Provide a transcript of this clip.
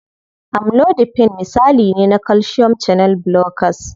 Amlodipine misali ne na calcium channel blockers.